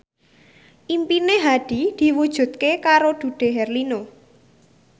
impine Hadi diwujudke karo Dude Herlino